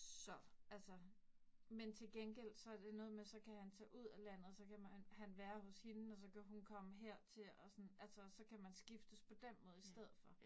Så, altså. Men til gengæld, så det noget med, så kan han tage ud af landet, så kan han være hos hende, og så kan hun komme hertil, og sådan. Altså så kan man skiftes på den måde i stedet for